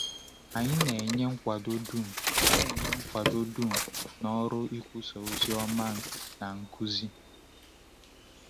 Anyị na-enye nkwado dum na-enye nkwado dum n’ọrụ ikwusa ozi ọma na nkuzi?